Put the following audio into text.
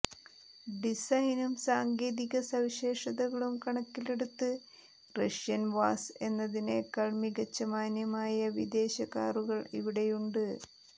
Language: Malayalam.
ഡിസൈനും സാങ്കേതിക സവിശേഷതകളും കണക്കിലെടുത്ത് റഷ്യൻ വാസ് എന്നതിനേക്കാൾ മികച്ച മാന്യമായ വിദേശ കാറുകൾ ഇവിടെയുണ്ട്